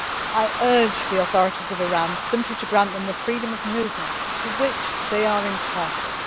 I urge the authorities of Iran simply to grant them the freedom of movement to which they are entitled.